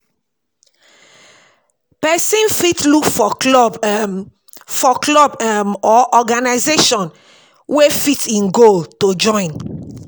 Person fit look for club um for club um or organization wey fit im goal to join